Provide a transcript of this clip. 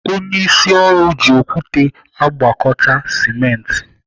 Onyeisi ọrụ ji okwute agwakọta simenti.